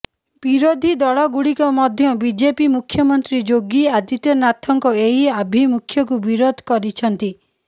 ବିରୋଧୀ ଦଳଗୁଡ଼ିକ ମଧ୍ୟ ବିଜେପି ମୁଖ୍ୟମନ୍ତ୍ରୀ ଯୋଗୀ ଆଦିତ୍ୟନାଥଙ୍କ ଏହି ଆଭିମୁଖ୍ୟକୁ ବିରୋଧ କରିଛନ୍ତି